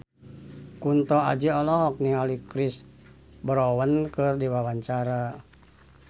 Kunto Aji olohok ningali Chris Brown keur diwawancara